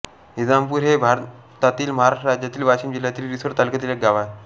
निजामपुर हे भारतातील महाराष्ट्र राज्यातील वाशिम जिल्ह्यातील रिसोड तालुक्यातील एक गाव आहे